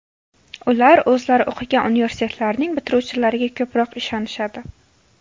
Ular o‘zlari o‘qigan universitetlarning bitiruvchilariga ko‘proq ishonishadi.